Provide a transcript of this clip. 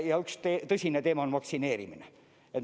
Ja üks tõsine teema on vaktsineerimine.